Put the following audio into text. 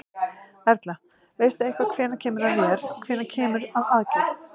Erla: Veistu eitthvað hvenær kemur að þér, hvenær kemur að aðgerð?